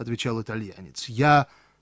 отвечал итальянец я